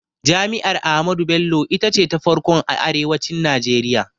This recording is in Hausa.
Jami'ar Ahmadu Bello ita ce ta farkon a arewacin Najeriya